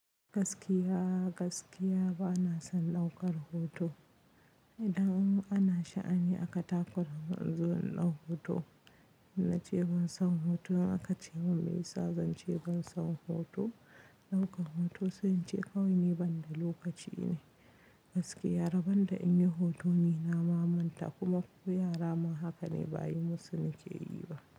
Gaskiya gaskiya bana son ɗaukar hoto. Idan an sha'ani a katakura in zo in ɗau hoto, in na ce ban son hoto aka ce mun me yasa zan ce ban son hoto? Ɗaukan hoto sun ce kawai ne banda lokaci ne. Gaskiya rabanda in yi hoto ni na mamanta kuma ku yara ma haka ne ba yi musu nike yi ba.